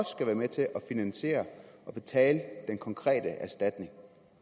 skal være med til at finansiere det og betale den konkrete erstatning